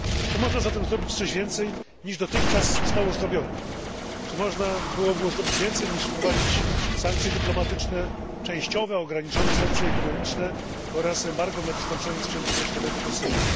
Czy można zatem zrobić coś więcej, niż dotychczas zostało zrobione, czy można było zrobić więcej, niż wprowadzić sankcje dyplomatyczne, częściowe, ograniczone sankcje ekonomiczne oraz embargo na dostarczanie sprzętu wojskowego do Syrii?